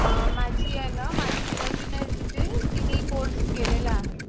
अ माझी ये ना माझी बहीण तिथे तिने कोर्स केलेला आहे.